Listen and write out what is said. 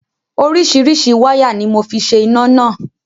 Oríṣiríṣi wáyà ni mo fi ṣe iná náà.